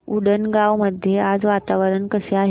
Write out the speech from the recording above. उंडणगांव मध्ये आज वातावरण कसे आहे